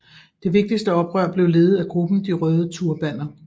Det vigtigste oprør blev ledet af gruppen De røde turbaner